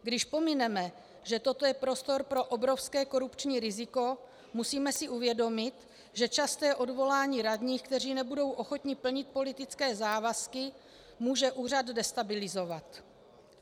Když pomineme, že toto je prostor pro obrovské korupční riziko, musíme si uvědomit, že časté odvolání radních, kteří nebudou ochotni plnit politické závazky, může úřad destabilizovat.